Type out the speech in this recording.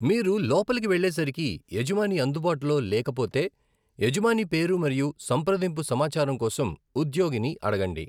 మీరు లోపలికి వెళ్ళేసరికి యజమాని అందుబాటులో లేకపోతే, యజమాని పేరు మరియు సంప్రదింపు సమాచారం కోసం ఉద్యోగిని అడగండి.